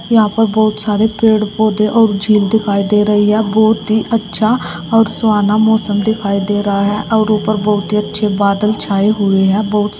यहां पर बहुत सारे पेड़-पौधे और झील दिखाई दे रही है। बहुत ही अच्छा और सुहाना मौसम दिखाई दे रहा है और ऊपर बहुत ही अच्छे बादल छाए हुए हैं। बहुत सब --